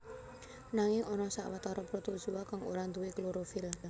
Nanging ana sawetara protozoa kang ora nduwé klorofil